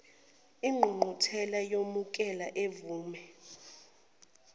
ingqungquthela iyomukela ivume